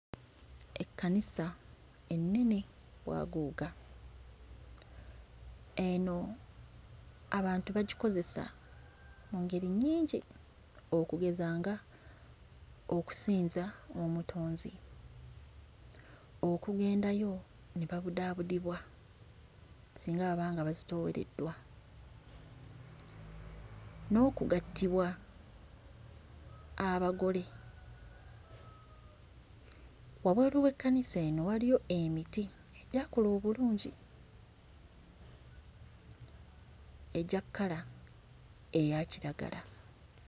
Ekkanisa ennene bwaguuga. Eno abantu bagikozesa mu ngeri nnyingi okugeza ng'okusinza Omutonzi, okugendayo ne babudaabudibwa singa baba nga bazitoowereddwa, n'okugattibwa abagole. Wabweru w'ekkanisa eno waliwo emiti egyakula obulungi egya kkala eya kiragala.